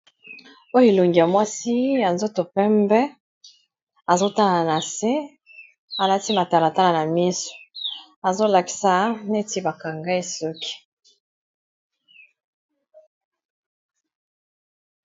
Oyo elongi ya mwasi ya nzoto pembe azotala na se alati matalatala na miso azolakisa neti bakanga ye suki.